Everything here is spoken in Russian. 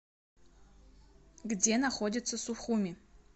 где находится сухуми